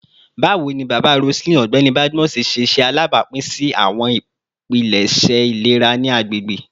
Bawo ni baba Roseline, Ọgbẹni Badmus, ṣe alabapin si awọn ipilẹṣẹ ilera ni agbegbe?